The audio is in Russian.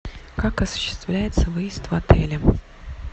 как осуществляется выезд в отеле